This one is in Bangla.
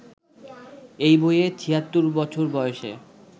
এই বইয়ে ৭৬ বছর বয়সে